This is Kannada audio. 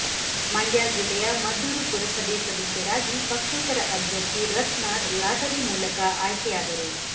ಮಂಡ್ಯ ಜಿಲ್ಲೆಯ ಮದ್ದೂರು ಪುರಸಭೆ ಸದಸ್ಯರಾಗಿ ಪಕ್ಷೇತರ ಅಭ್ಯರ್ಥಿ ರತ್ನಾ ಲಾಟರಿ ಮೂಲಕ ಆಯ್ಕೆಯಾದರು